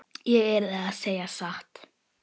Ég yrði að segja satt.